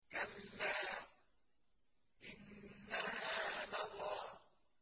كَلَّا ۖ إِنَّهَا لَظَىٰ